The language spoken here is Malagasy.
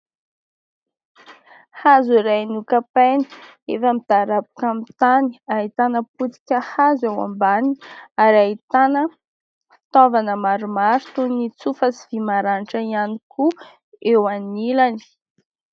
Hazo iray nokapaina efa midaraboka amin'ny tany, ahitana potika hazo eo ambaniny ary ahitana fitaovana maromaro toy ny tsofa sy vy maranitra ihany koa eo anilany.